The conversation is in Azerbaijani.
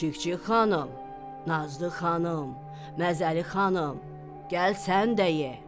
Çik-çik xanım, Nazlı xanım, Məzəli xanım, gəl sən də ye!